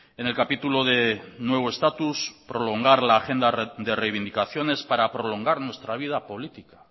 en el capítulo de nuevo estatus prolongar la agenda de reivindicaciones para prolongar nuestra vida política